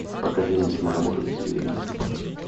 покажи мне киноработу дикие лебеди